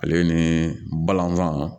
Ale ni balɔntan